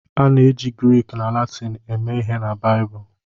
A na-eji Grik na Latịn eme ihe na Baịbụl.